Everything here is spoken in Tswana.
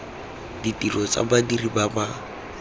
ditiro tsa badiri ba ba